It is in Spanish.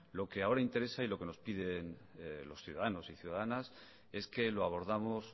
lo que ahora interesa y lo que nos piden los ciudadanos y ciudadanas es que lo abordamos